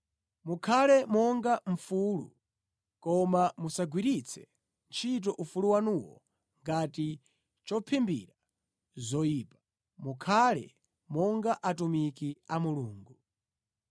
Mukhale monga mfulu, koma musagwiritse ntchito ufulu wanuwo ngati chophimbira zoyipa; mukhale monga atumiki a Mulungu.